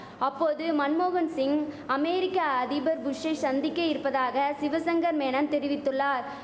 அப்போது மன்மோகன் சிங் அமேரிக்க அதிபர் புஷ்சை சந்திக்க இருப்பதாக சிவசங்கர் மேனன் தெரிவித்துள்ளார்